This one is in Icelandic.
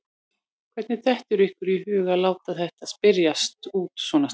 Hvernig dettur ykkur í hug að láta þetta spyrjast út svona snemma?